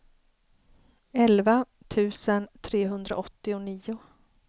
elva tusen trehundraåttionio